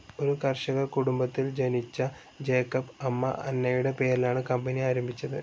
ഒരു കർഷക കുടുംബത്തിൽ ജനിച്ച ജേക്കബ് അമ്മ അന്നയുടെ പേരിലാണ് കമ്പനി ആരംഭിച്ചത്.